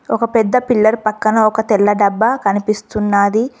ఒక పెద్ద పిల్లర్ పక్కన ఒక తెల్ల డబ్బా కనిపిస్తున్నాది.